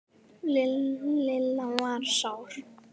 Lilla var sár.